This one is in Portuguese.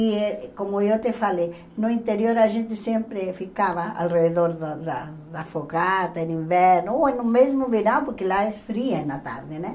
E eh, como eu te falei, no interior a gente sempre ficava ao redor da da da fogata, no inverno, ou no mesmo verão, porque lá é frio na tarde, né?